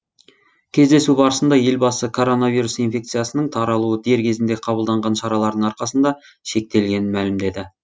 кездесу барысында елбасы коронавирус инфекциясының таралуы дер кезінде қабылданған шаралардың арқасында шектелгенін мәлімдеді